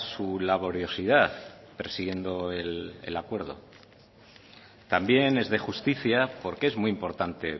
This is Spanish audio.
su laboriosidad persiguiendo el acuerdo también es de justicia porque es muy importante